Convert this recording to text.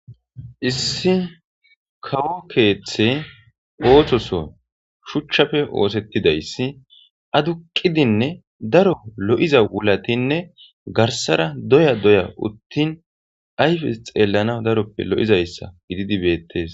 Issi kawo kethi otoso shuchappe osetidaysine aduqidine daro lo'za wulatine garsera doya doya utin ayfes xelanaw darope lo'zaysi gididi betes.